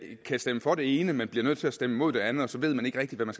kan stemme for det ene men bliver nødt til at stemme imod det andet og så ved man ikke rigtig hvad man